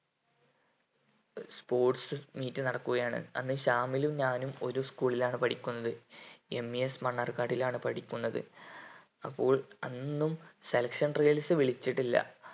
sports meet നടക്കുകയാണ് അന്ന് ശാമിലും ഞാനും ഒരു school ലാണ് പഠിക്കുന്നത് MES മണ്ണാർകാടിലാണ് പഠിക്കുന്നത് അപ്പോൾ അന്നും selection trials വിളിച്ചിട്ടില്ല